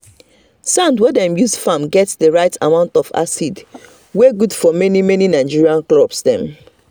sand wey dem use farm get the right amount of acid wey good for many many nigerian crops dem.